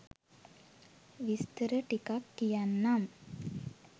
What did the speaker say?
විස්තර ටිකක් කියන්නම්